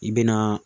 I bɛ na